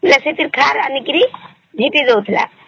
ବେଶୀ କିରି ଖାର ଆଣିକିରି ଝିଟି ଦଉଥିଲା